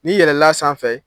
N'i yɛlɛl'a sanfɛ